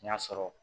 N y'a sɔrɔ